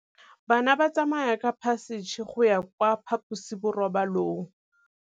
Bana ba tsamaya ka phašitshe go ya kwa phaposiborobalong.